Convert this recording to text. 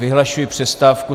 Vyhlašuji přestávku.